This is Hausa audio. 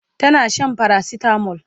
tana Shan paracetamol